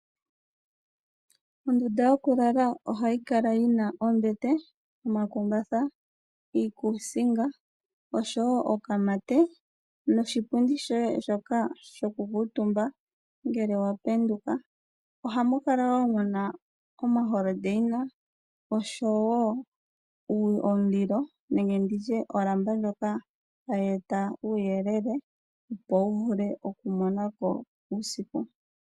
Ondunda yo ku lala ohayi kala yina ombete, omakumbatha, iikuusinga oshowo okamate noshipundi shoye shoka shoku kuutumba ngele wa penduka. Ohamu kala wo muna omalapi go pomakende oshowo omulilo nwnge nditye olamba ndjoka hayi eta uuyelele opo wu vule oku monako uusiku.